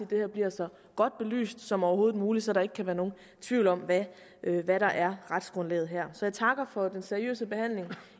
det her bliver så godt belyst som overhovedet muligt så der ikke kan være nogen tvivl om hvad hvad der er retsgrundlaget jeg takker for den seriøse behandling